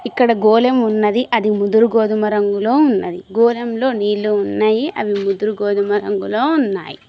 ఇక్కడ గోళం ఉన్నది అది ముదురు గోధుమ రంగులో ఉన్నది గోళంలో నీళ్లు ఉన్నాయి అవి ముదురు గోధుమ రంగులో ఉన్నాయి.